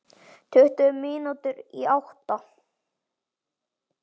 Tuttugu mínútur í átta.